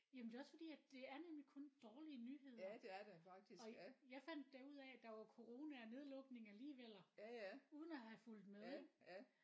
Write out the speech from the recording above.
Jamen det er også fordi at det er nemlig kun dårlige nyheder og jeg fandt da ud af der var coronanedlukning alligevel uden at have fulgt med ik